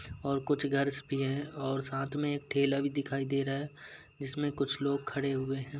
और कुछ गर्ल्स भी हैं और साथ मे एक ठेला भी दिखाई दे रहा है जिसमें कुछ लोग खड़े हुए हैं।